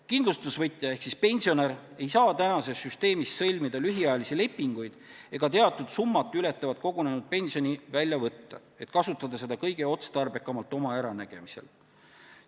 Kindlustusvõtja ehk pensionär ei saa tänases süsteemis sõlmida lühiajalisi lepinguid ega teatud summat ületavat kogunenud pensioni välja võtta, et kasutada seda kõige otstarbekamalt oma äranägemise järgi.